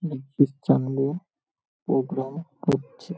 এক খ্রিশ্চান বৌ প্রোগ্রাম করছে ।